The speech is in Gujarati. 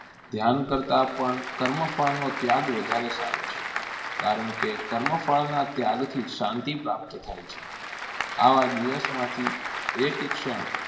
ધ્યાન કરતાં પણ કર્મ ફળનો ત્યાગ વધારે સારો છે. કારણ કે કર્મ ફળના ત્યાગથી શાંતિ પ્રાપ્ત થાય છે. આવા દિવસમાંથી એક ક્ષણ